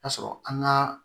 Ka sɔrɔ an ka